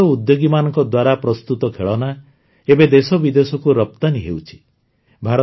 ଏଇ ଛୋଟ ଉଦ୍ୟୋଗୀମାନଙ୍କ ଦ୍ୱାରା ପ୍ରସ୍ତୁତ ଖେଳନା ଏବେ ଦେଶବିଦେଶକୁ ରପ୍ତାନୀ ହେଉଛି